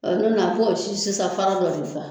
si sisan fara dɔ de kan.